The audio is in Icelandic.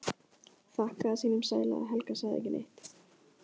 Þakkaði sínum sæla að Helga sagði ekki neitt.